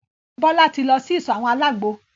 Bọ́lá tí lọ sí ìsọ̀ àwọn àlágbo.